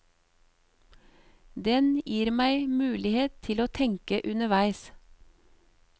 Den gir meg mulighet til å tenke underveis.